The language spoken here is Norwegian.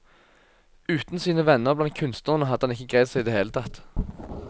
Uten sine venner blant kunstnerne hadde han ikke greid seg i det hele tatt.